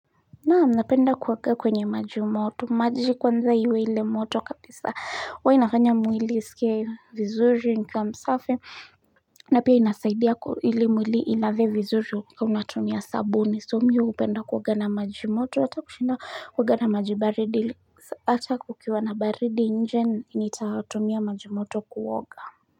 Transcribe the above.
Naam napenda kuoga kwenye maji moto maji kwanza iwe ile moto kabisa huainafanya mwili isikie vizuri nikiwa msafi na pia inasaidia ili mwili ilave vizuri ukiwa unatumia sabuni so mimi hupenda kuoga na maji moto hata kushinda kuoga na maji baridi hata kukiwa na baridi nje nitatumia maji moto kuoga.